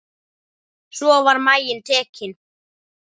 Svo var maginn tekinn.